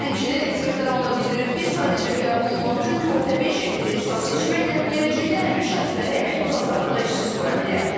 Həmçinin ekspertlər onda bildirir ki, sadəcə qəbul olmaq üçün körtəbii şəkildə ixtisas seçmək də gələcəkdə həmin şəxsləri əmək bazarında işsiz qoya bilər.